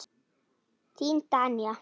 Þín Danía.